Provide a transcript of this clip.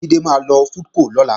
Jídé máa lọ sí FoodCo lọ́la